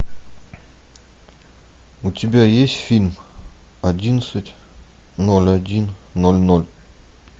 у тебя есть фильм одиннадцать ноль один ноль ноль